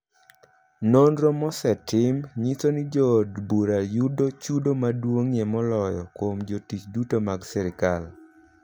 Nonro mosetim nyiso ni jood bura yudo chudo maduong'ie moloyo kuom jotich duto mag sirkal.